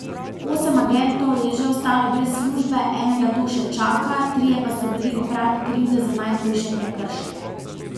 Osem agentov je že ostalo brez službe, enega to še čaka, trije pa so bili oprani krivde za najhujše prekrške.